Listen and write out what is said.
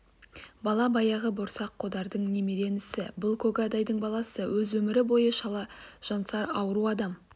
бала баяғы борсақ қодардың немере інісі бұл көгадайдың баласы өз өмір бойы шала жансар ауру адам